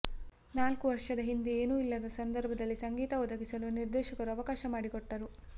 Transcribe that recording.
ನಾಲ್ಕು ವರ್ಷದ ಹಿಂದೆ ಏನೂ ಇಲ್ಲದ ಸಂದರ್ಭದಲ್ಲಿ ಸಂಗೀತ ಒದಗಿಸಲು ನಿರ್ದೇಶಕರು ಅವಕಾಶ ಮಾಡಿಕೊಟ್ಟರು